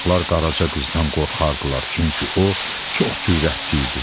Uşaqlar Qaraca qızdan qorxardılar, çünki o çox cürətli idi.